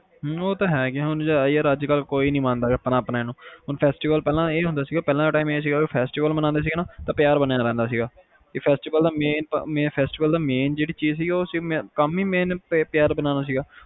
ਹਮ ਉਹ ਤਾ ਹੈ ਯਾਰ ਅੱਜ ਕੱਲ ਕੋਈ ਨੀ ਮੰਨਦਾ ਹੈਗਾ ਆਪਣੇ ਨੂੰ festival ਨੂੰ, ਪਹਿਲਾ ਦਾ time ਇਹ ਸੀ ਕੇ festival ਮਨਾਉਣੇ ਆ ਨਾ ਤਾ ਪਿਆਰ ਬਣਿਆ ਰਹਿੰਦਾ ਸੀਗਾ festival ਦਾ main ਚੀਜ਼ main ਕੰਮ ਇਹ ਸੀ ਕਿ ਪਿਆਰ ਬਣਾਉਣਾ ਸੀਗਾ